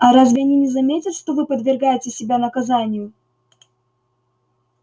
а разве они не заметят что вы подвергаете себя наказанию